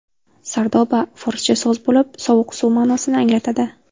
Sardoba – forscha so‘z bo‘lib, sovuq suv ma’nosini anglatadi.